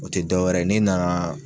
O tɛ dɔwɛrɛ ye n'e nana